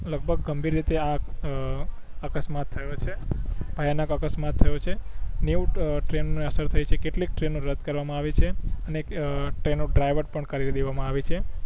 લગભગ ગંભીર રીતે આ અકસ્માત થયો છે ભયાનક અકસ્માત થયો ક છે નેવ ટ્રેન ને અસર થઈ છે કેટલીક ટ્રેનો રદ કરવા માં આવી છે અને અ ટ્રેનો ડ્રાઇવત પણ કરી દેવમાં આવી છે